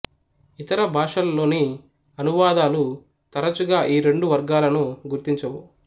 ఇతర భాషల్లోని అనువాదాలు తరచుగా ఈ రెండు వర్గాలను గుర్తించవు